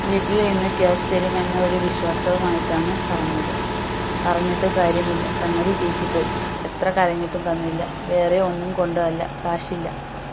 വീട്ടിൽ നിന്ന് cash തരും എന്ന ഒരു വിശ്വാസവും ആയിട്ട് ആണ് പറഞ്ഞത്. പറഞ്ഞിട്ട് കാര്യം ഇല്ല സംഗതി ചിറ്റിപോയി എത്ര കരഞ്ഞിട്ടും തന്നില്ല വേറെ ഒന്നും കൊണ്ടു അല്ല cash ഇല്ല